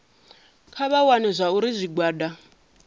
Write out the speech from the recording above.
kha vha vhone zwauri zwigwada